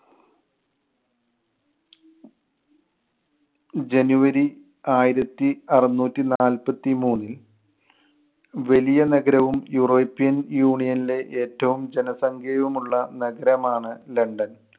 january ആയിരത്തി അറുനൂറ്റി നാൽപ്പത്തി മൂന്നിൽ വലിയ നഗരവും യൂറോപ്പ്യൻ യൂണിയണിലെ ഏറ്റവും ജനസംഖ്യയും ഉള്ള നഗരമാണ് ലണ്ടൻ.